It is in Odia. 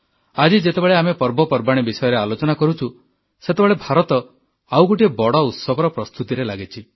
ଆଜି ଯେତେବେଳେ ଆମେ ପର୍ବପବାଣି ବିଷୟରେ ଆଲୋଚନା କରୁଛୁ ସେତେବେଳେ ଭାରତ ଆଉ ଗୋଟିଏ ବଡ଼ ଉତ୍ସବର ପ୍ରସ୍ତୁତିରେ ଲାଗିଛି